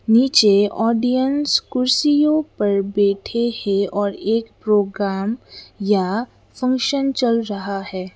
नीचे ऑडियंस कुर्सियों पर बैठे है और एक प्रोग्राम या फंक्शन चल रहा है।